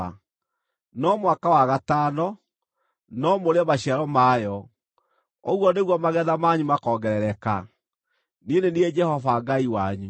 No mwaka wa gatano, no mũrĩe maciaro mayo. Ũguo nĩguo magetha manyu makoongerereka. Niĩ nĩ niĩ Jehova Ngai wanyu.